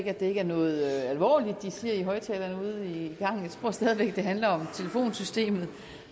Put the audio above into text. at det ikke er noget alvorligt de siger i højttalerne ude i gangen jeg tror stadig væk det handler om telefonsystemet